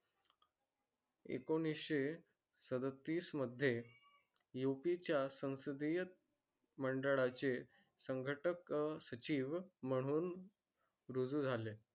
एकोणीस सदतीस मध्ये यूपी च्या संसदीय मंडळाचे संघटक सचिव म्हणून रुजू झाले.